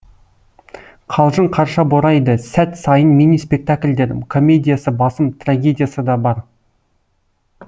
қалжың қарша борайды сәт сайын мини спектакльдер комедиясы басым трагедиясы да бар